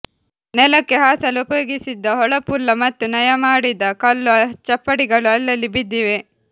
ನೆಲಕ್ಕೆ ಹಾಸಲು ಉಪಯೋಗಿಸಿದ್ದ ಹೊಳಪುಳ್ಳ ಮತ್ತು ನಯಮಾಡಿದ ಕಲ್ಲು ಚಪ್ಪಡಿಗಳು ಅಲ್ಲಲ್ಲಿ ಬಿದ್ದಿವೆ